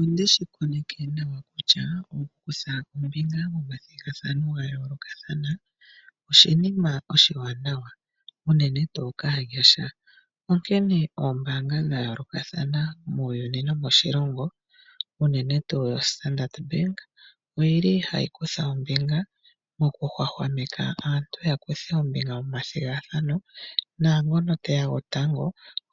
Onde shi koneke nawa kutya okukutha ombinga momathigathano ga yoolokathana oshinima oshiwanawa unene tuu kaanyasha. Onkene oombaanga dha yooolokathana muuyuni nomoshilongo unene tuu oStandard Bank oyi li hayi kutha ombinga mokuhwahwameka aantu ya kuthe ombinga momathigathano naangono te ya tango